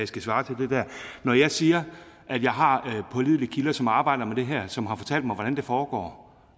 skal svare til det der når jeg siger at jeg har pålidelige kilder som arbejder med det her og som har fortalt mig hvordan det foregår